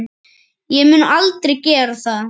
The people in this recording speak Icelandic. Ég mun aldrei gera það.